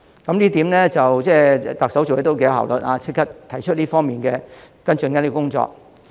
這一點，特首做事頗有效率，立即提出這方面的跟進工作。